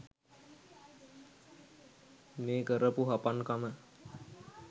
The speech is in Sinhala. මේ කරපු හපන්කම